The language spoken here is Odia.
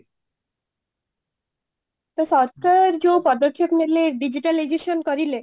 ସରକାର ଯୋଉ ପଦକ୍ଷେପ ନେଲେ digitalization କରିଲେ